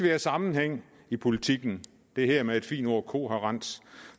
have sammenhæng i politikken det hedder med et fint ord kohærens